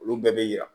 Olu bɛɛ bɛ yira